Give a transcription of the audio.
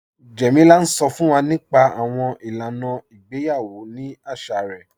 Jẹ́mílà ǹ sọ́ fún wà nípa àwọn ilànà ìgbèyawọ̀ ní àṣà rẹ̀